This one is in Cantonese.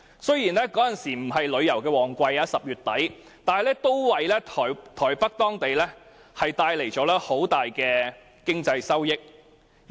雖然10月底並非旅遊旺季，但也為台北帶來了很大的經濟收益。